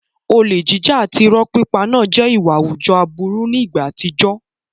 Olè jíjà àti ìrọ́ pípa náà jẹ́ ìwà àwùjọ aburú ní ìgbà àtijọ́.